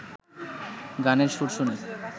গানের সুর শুনে